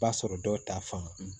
B'a sɔrɔ dɔw ta fan